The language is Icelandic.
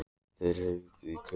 Þeir hrukku í kút og litu við.